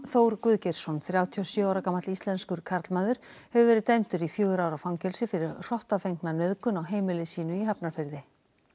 Þór Guðgeirsson þrjátíu og sjö ára gamall íslenskur karlmaður hefur verið dæmdur í fjögurra ára fangelsi fyrir nauðgun á heimili sínu í Hafnarfirði